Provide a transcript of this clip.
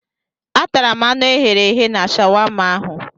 Atara m anụ ehi e ghere eghe na shawama ahụ.